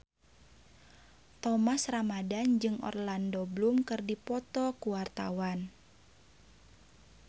Thomas Ramdhan jeung Orlando Bloom keur dipoto ku wartawan